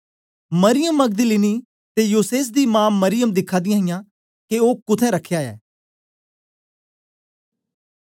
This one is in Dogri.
मरियम मगदलीनी ते योसेस दी मां मरियम दिखा दियां के ओ कुत्थें रखया ऐ